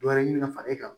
Dɔ wɛrɛ ɲini ka fara e kan